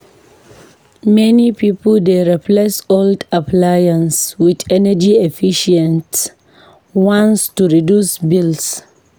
Many pipo dey replace old appliances with energy-efficient ones to reduce bills.